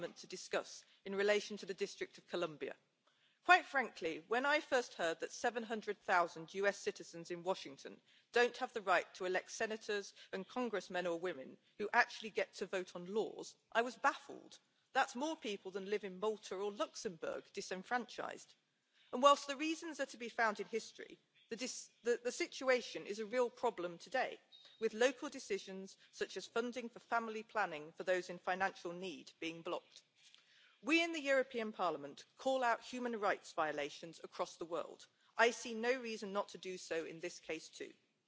Fontosnak tartom, hogy a kiszámíthatatlanná vált amerikai kül és gazdaságpolitika hatásaival szembesülő Európa egyszerre keressen az EU és tagállamai saját biztonságát és nemzetközi versenyképességét szolgáló új utakat, miközben igyekszik megőrizni a Transzatlanti Szövetség azon sok évtizedes értékeit, amelyek kontinensünk békéjének és jólétének alapjául szolgálnak. Ez a jelentés megfelelő kiinduló alap lehet ahhoz, hogy az Európai Parlament és az Unió egésze konkrét, jövőbe mutató javaslatokkal álljon készen arra az időre, amikor az USA oldalán ismét kiszámítható és felelősségteljes kormányzati partnerrel állunk majd szemben. Ehhez persze szükséges az is, hogy az EU USA viszony alakításában is erősítsük